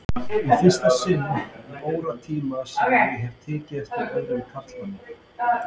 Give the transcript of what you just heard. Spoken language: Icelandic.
Í fyrsta sinn í óratíma sem ég hafði tekið eftir öðrum karlmanni.